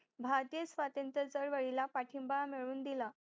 भारतीय स्वातंत्र चळवळीला पाठिंबा मिळून दिला